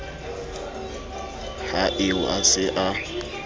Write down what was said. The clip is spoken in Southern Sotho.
ha eo a se a